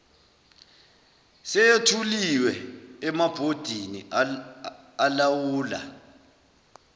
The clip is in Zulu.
seyethuliwe emabhodini alawula